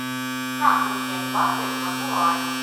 как поменять баты на гуарани